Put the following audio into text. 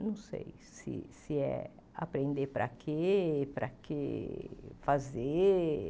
Não sei se se é aprender para quê, para quê fazer.